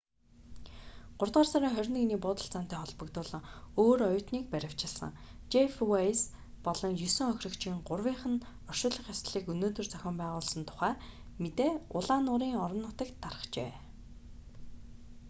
гуравдугаар сарын 21-ний буудалцаантай холбогдуулан өөр оюутныг баривчилсан жефф вэйс болон есөн хохирогчийн гурвынх нь оршуулах ёслолыг өнөөдөр зохион байгуулсан тухай мэдээ улаан нуурын орон нутагт тархжээ